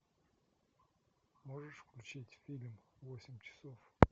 можешь включить фильм восемь часов